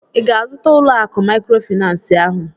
ị ga-azụta ụlọ akụ maịkrofịnansị ahụ?